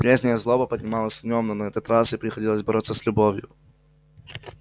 прежняя злоба поднималась в нем но на этот раз ей приходилось бороться с любовью